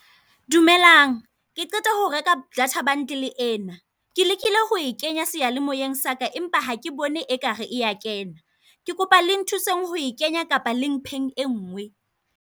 Dumelang ke qeta ho reka data bundle ena. Ke lekile ho e kenya seyalemoeng saka, empa ha ke bone ekare e kena. Ke kopa le nthuseng ho e kenya, kapa le mpheng e nngwe.